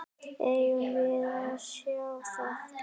Eigum við að sjá það?